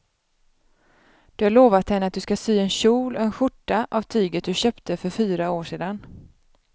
Du har lovat henne att du ska sy en kjol och skjorta av tyget du köpte för fyra år sedan.